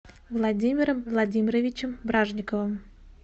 владимиром владимировичем бражниковым